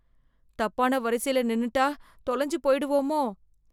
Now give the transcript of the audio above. தப்பான வரிசைல நின்னுட்டா, தொலஞ்சி போய்டுவோமோ?